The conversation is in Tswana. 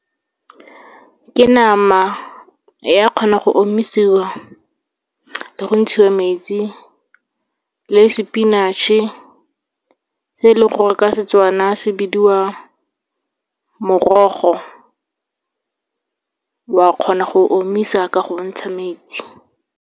Ke nama, ya kgona go omisiwa le go ntshiwa metsi. Le spinach-e, se e leng gore ka Setswana se bidiwa morogo, wa kgona go omisa ka go ntsha metsi.